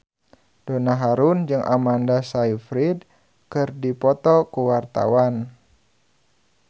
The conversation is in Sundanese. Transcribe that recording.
Donna Harun jeung Amanda Sayfried keur dipoto ku wartawan